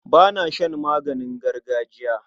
Ba na shan maganin gargajiya.